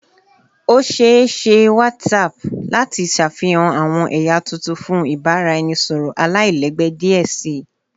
O ṣee ṣe WhatsApp lati ṣafihan awọn ẹya tuntun fun ibaraẹnisọrọ alailẹgbẹ diẹ sii